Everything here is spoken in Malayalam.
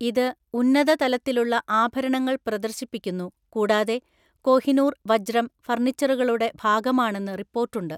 ഇത് ഉന്നത തലത്തിലുള്ള ആഭരണങ്ങൾ പ്രദർശിപ്പിക്കുന്നു, കൂടാതെ കോഹിനൂർ വജ്രം ഫർണിച്ചറുകളുടെ ഭാഗമാണെന്ന് റിപ്പോർട്ടുണ്ട്.